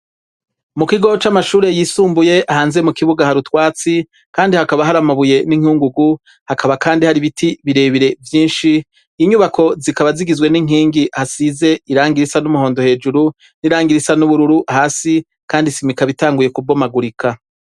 Mu kigo c'amashuri yisumbuye hanze mu kibuga ha rutwatsi kandi hakaba hari amabuye n'inkungugu hakaba kandi hari biti birebire vyinshi inyubako zikaba zigizwe n'inkingi hasize irangirisa n'umuhondo hejuru n'irangirisa n'ubururu hasi kandi isima ikaba itanguye kubomagurika.